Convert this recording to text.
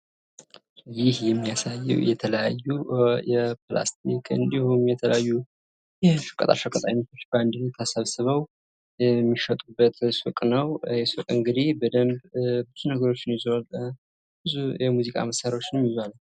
ይህ የሚያሳየዉ የተለያዩ የፕላስቲክ እንዲሁም የተለያዩ የሸቀጣ ሸቀጥ አይነቶች በአንድ ላይ ተሰብስበዉ የሚሸጡበት ሱቅ ነዉ። ይህ ሱቅ እንግዲህ በደንብ ብዙ ነገሮችን ይዟል። ብዙ የሙዚቃ መሳሪያዎችን ይዟል።